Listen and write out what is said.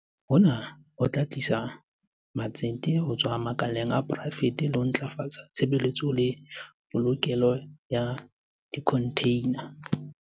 Hona ho tla tlisa matsete ho tswa makaleng a poraefete le ho ntlafatsa tshebetso le polokelo ya dikhontheina.